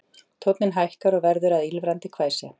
Tónninn hækkar og verður að ýlfrandi hvæsi